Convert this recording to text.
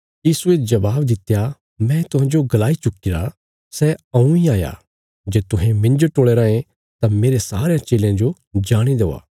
यीशुये जवाब दित्या मैं तुहांजो गलाई चुक्कीरा सै हऊँ इ हाया जे तुहें मिन्जो टोल़या रायें तां मेरे सारयां चेलयां जो जाणे देआ